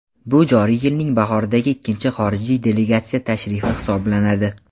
bu joriy yilning bahoridagi ikkinchi xorijiy delegatsiya tashrifi hisoblanadi.